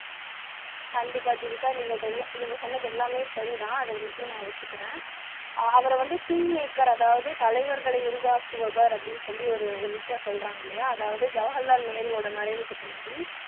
கண்டிப்பா ஜீவிதா நீங்க இதெல்லாம் சொன்னது எல்லாமே சரிதான் நான் ஒத்துக்கிறேன் அவரை வந்து king maker அதாவது தலைவர்களை உருவாக்குபவர் அப்படின்னு ஒரு விஷயம் சொல்றாங்க இல்லையா அதாவது ஜவஹர்லால் நேருவோட மறைவுக்கு பின்னாடி